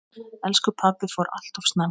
Elsku pabbi fór alltof snemma.